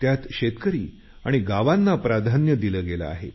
त्यात शेतकरी आणि गावांना प्राधान्य दिलं गेलं आहे